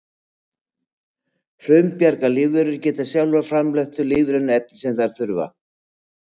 frumbjarga lífverur geta sjálfar framleitt þau lífrænu efni sem þær þurfa